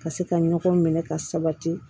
Ka se ka ɲɔgɔn minɛ ka sabati